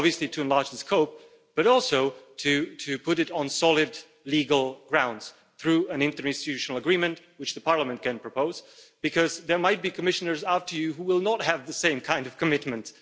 It is obviously to enlarge the scope, but also to put it on solid legal grounds through an interinstitutional agreement, which the Parliament can propose, because there might be Commissioners after you who will not have the same kind of commitment.